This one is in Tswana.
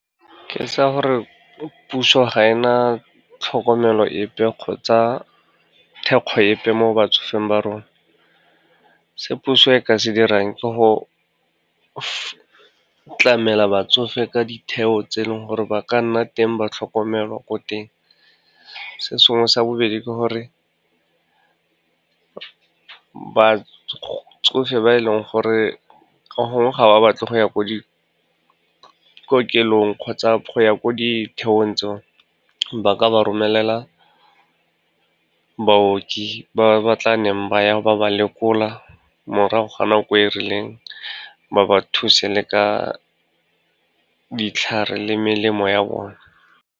Ke tsa gore puso ga e na tlhokomelo epe kgotsa thekgo epe mo batsofeng ba rona. Se puso e ka se dirang ke go tlamela batsofe ka ditheo tse e leng gore ba ka nna teng, ba tlhokomelwa ko teng. Se sengwe sa bobedi ke gore, batsofe ba e leng gore gongwe ga ba batle go ya ko dikokelong kgotsa go ya ko ditheong tseo, ba ka ba romelela baoki ba ba tlaneng ba ya ba ba lekola morago ga nako e rileng, ba ba thuse le ka ditlhare le melemo ya bona.